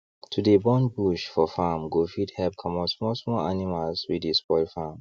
to dey burn bush for farm go fit help comot small small animals wey dey spoil farm